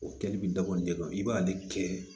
O kɛli bi dabɔ nin de kama i b'ale kɛ